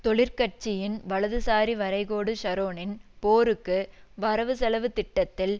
தொழிற்கட்சியின் வலதுசாரி வரைகோடு ஷரோனின் போருக்கு வரவுசெலவு திட்டத்தில்